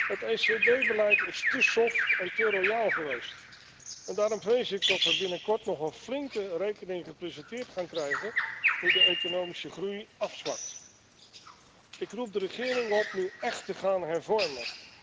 Het ECB beleid is te soft en te royaal geweest en daarom vrees ik dat we binnenkort nog een flinke rekening gepresenteerd gaan krijgen nu de economische groei afzwakt. Ik roep de regering op nu echt te gaan hervormen.